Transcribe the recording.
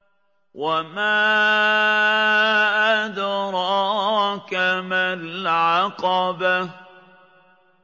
وَمَا أَدْرَاكَ مَا الْعَقَبَةُ